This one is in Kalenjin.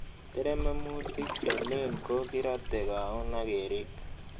Terememutik che lel ko kirate kaun ak kerip